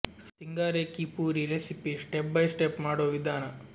ಸಿಂಗಾರೆ ಕೀ ಪೂರಿ recipe step by step ಮಾಡುವ ವಿಧಾನ